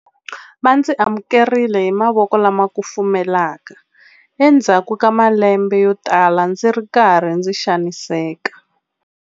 Va ndzi amukerile hi mavoko lama kufumelaka endzhaku ka malembe yotala ndzi ri karhi ndzi xaniseka.